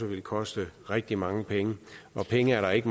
ville koste rigtig mange penge og penge er der ikke